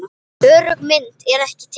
Örugg mynd er ekki til.